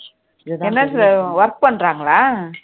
NLC ல work பண்றாங்களா